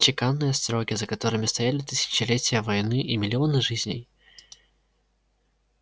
чеканные строки за которыми стояли тысячелетия войны и миллионы жизней